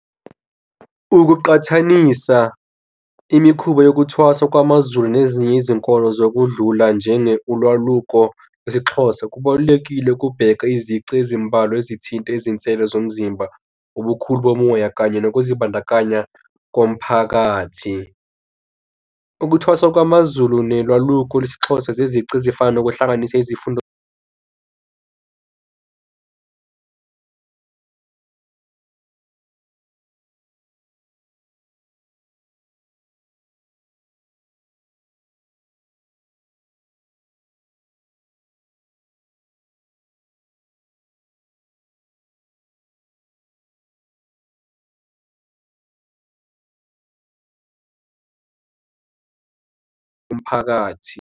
Ukuqhathanisa imikhuba yokuthwasa kwamaZulu nezinye izinkolo zokudlula njenge ulwaluko, isiXhosa kubalulekile ukubheka izici ezimbalwa ezithinta izinsele zomzimba, ubukhulu bomoya, kanye nokuzibandakanya komphakathi. Ukuthwasa kwamaZulu nelwaluko lesiXhosa zezici ezifana nokuhlanganisa izifundo umphakathi.